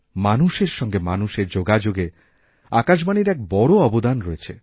মানুষেরসঙ্গে মানুষের যোগাযোগে আকাশবাণীর এক বড় অবদানরয়েছে